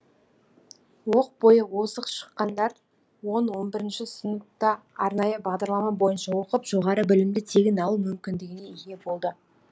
оқ бойы озық шыққандар он он бірінші сыныпта арнайы бағдарлама бойынша оқып жоғарғы білімді тегін алу мүмкіндігіне ие болды